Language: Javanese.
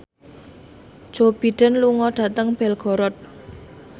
Joe Biden lunga dhateng Belgorod